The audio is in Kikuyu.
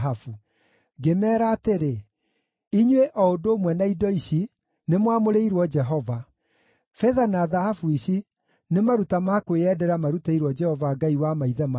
Ngĩmeera atĩrĩ, “Inyuĩ o ũndũ ũmwe na indo ici nĩ mwamũrĩirwo Jehova. Betha na thahabu ici nĩ maruta ma kwĩyendera marutĩirwo Jehova Ngai wa maithe manyu.